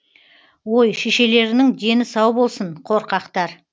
ой шешелеріңнің дені сау болсын қорқақтар